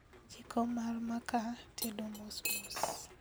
Jiko mar makaa tedo mosmos